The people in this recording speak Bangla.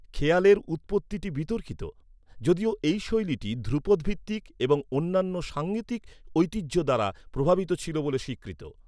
খেয়ালের উৎপত্তিটি বিতর্কিত, যদিও এই শৈলীটি ধ্রুপদ ভিত্তিক এবং অন্যান্য সাঙ্গীতিক ঐতিহ্য দ্বারা প্রভাবিত ছিল বলে স্বীকৃত।